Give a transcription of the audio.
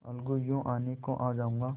अलगूयों आने को आ जाऊँगा